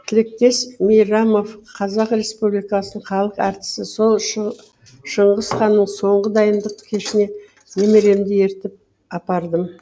тілектес мейрамов қр халық әртісі сол шыңғыс ханның соңғы дайындық кешіне немеремді ертіп апардым